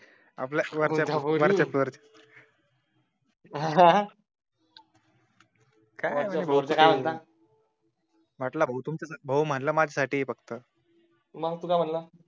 आपल्या वरच्या अह म्हटलं भाऊ फक्त माझ्या साठी आहे मग तू काय म्हटलं